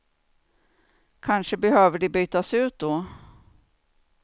Kanske behöver de bytas ut då.